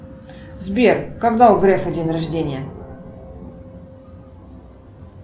сбер когда у грефа день рождения